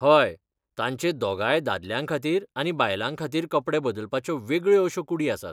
हय, तांचे दोगांय दादल्यांखातीर आनी बायलांखातीर कपडे बदलपाच्यो वेगळ्यो अश्यो कूडी आसात.